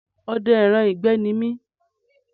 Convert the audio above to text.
Ọdẹ ẹran ìgbẹ́ ní mi